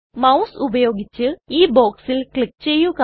mouse ഉപയോഗിച്ച് ഈ ബോക്സിൽ ക്ലിക് ചെയ്യുക